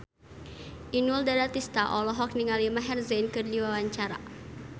Inul Daratista olohok ningali Maher Zein keur diwawancara